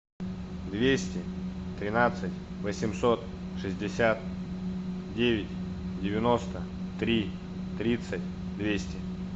двести тринадцать восемьсот шестьдесят девять девяносто три тридцать двести